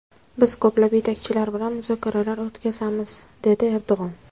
Biz ko‘plab yetakchilar bilan muzokaralar o‘tkazamiz”, dedi Erdo‘g‘on.